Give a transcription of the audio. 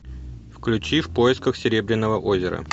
включи в поисках серебряного озера